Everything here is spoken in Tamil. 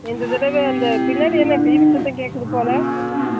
இந்த தடவை அந்த பின்னாடி என்ன TV சத்தம் கேட்குது போல